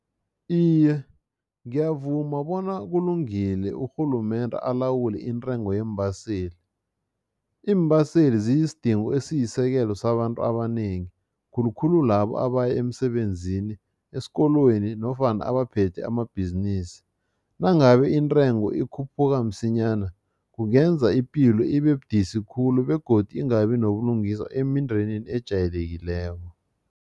Iye, ngiyavuma bona kulungile urhulumende alawule intengo yeembaseli. iimbaseli ziyisidingo ziyisekelo sabantu abanengi, khulukhulu labo abaya emsebenzinini, esikolweni nofana abaphethe amabhizinisi. Nangabe intengo ikhuphuka msinyana kungenza ipilo ibebudisi khulu begodu ingabi nobulungiswa emindenini ejayelekileko.